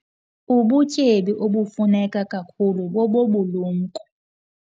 Ubutyebi obufuneka kakhulu bobobulumko.